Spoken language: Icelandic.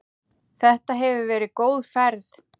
Þetta hefur verið góð ferð.